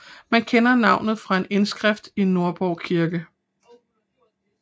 Man kender navnet fra en indskrift i Nordborg kirke